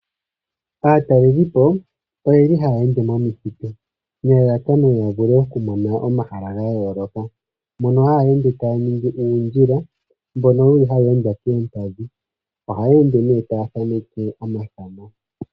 Aatalelipo oyeli haya ende momithitu nelalakano yavule okumona omahala gayooloka. Mpono haya ende taya ningi oondjila, mono yeli haya ende koompadhi. Ohaya ende ne taya thaneke omathano.